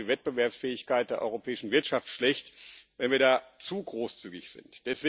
Es wäre aber auch für die Wettbewerbsfähigkeit der europäischen Wirtschaft schlecht, wenn wir da zu großzügig sind.